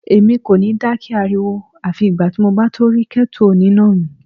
Èmi kò ní dákẹ́ ariwo àfi ìgbà tí mo bá tó rí kẹ́tù oníná mi.